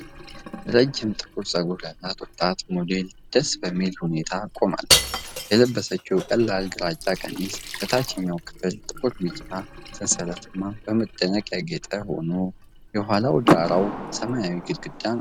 ረዥም ጥቁር ፀጉር ያላት ወጣት ሞዴል ደስ በሚል ሁኔታ ቆማለች። የለበሰችው ቀላል ግራጫ ቀሚስ በታችኛው ክፍል ጥቁርና ቢጫ ሰንሰለታማ በመደነቅ ያጌጠ ሆኖ፣ የኋላ ዳራዋ ሰማያዊ ግድግዳ ነው።